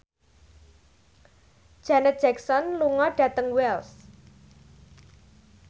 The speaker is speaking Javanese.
Janet Jackson lunga dhateng Wells